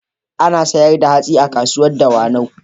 Ana sayar da hatsi a kasuwar Dawanau.